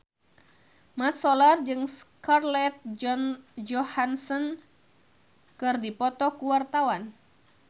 Mat Solar jeung Scarlett Johansson keur dipoto ku wartawan